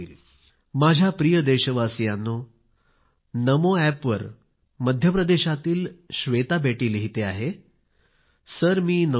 माझ्या प्रिय देशवासीयांनो नमो एप वर मध्यप्रदेशातील श्वेता बेटी लिहिते आहे तिने लिहिले आहे सर मी नववीत आहे